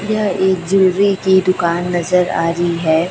यह एक जूलरी की दुकान नजर आ री है।